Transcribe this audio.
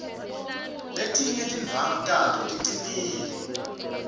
letinye tindvwangu tato ticinile